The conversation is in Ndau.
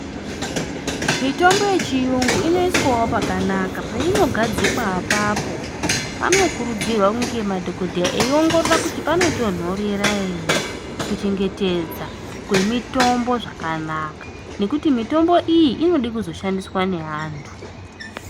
Mitombo yechiyungu inoiswawo pakanaka, peinogadzikwa apapo. Panokurudzirwa kunge madhokodheya eiongorora kuti panotonhorera ere, kuchengetedza kwemitombo zvakanaka, nekuti mitombo iyi inode kuzoshandiswa nevantu.